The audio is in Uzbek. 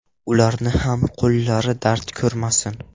Ularning ham qo‘llari dard ko‘rmasin.